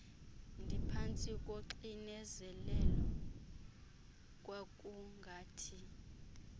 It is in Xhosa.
ndiphantsi koxinezelelo kwakungathi